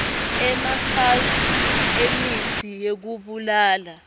emafethri emitsi yekubulala